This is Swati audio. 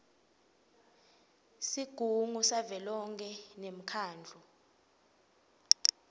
sigungu savelonkhe nemkhandlu